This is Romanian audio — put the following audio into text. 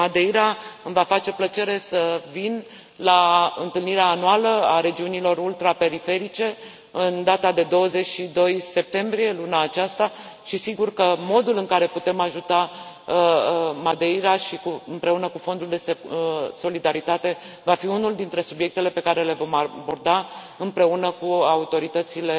Iar în Madeira îmi va face plăcere să vin la întâlnirea anuală a regiunilor ultra periferice în data de 22 septembrie, luna aceasta, și, sigur că modul în care putem ajuta Madeira împreună cu fondul de solidaritate va fi unul dintre subiectele pe care le vom aborda împreună cu autoritățile